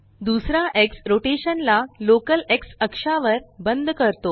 दुसरा x rotation ला local x अक्षावर बंद करतो